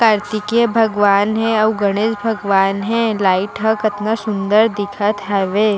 कार्तिके भगवान हे आऊ गणेश भगवन हे लाइट ह कतना सुन्दर दिखत हावे।